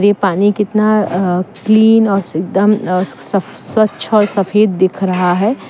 ये पानी कितना अ क्लीन अ एकदम सफ स्वच्छ और सफेद दिख रहा है।